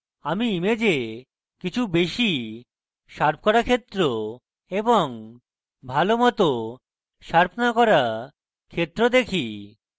আমি image কিছু বেশীই শার্প করা ক্ষেত্র এবং ভালো মত শার্প না করা ক্ষেত্র দেখি